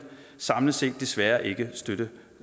samlet set desværre ikke støtte